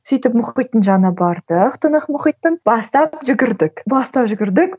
сөйтіп мұхиттың жанына бардық тынық мұхиттың бастап жүгірдік бастап жүгірдік